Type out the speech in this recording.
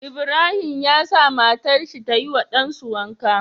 Ibrahim ya sa matar shi tayi wa ɗan su wanka